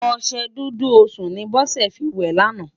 Oṣè Dúdú Osún ni Bose fi wè làná